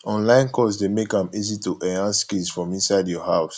online course dey make am easy to enhance skills from inside your house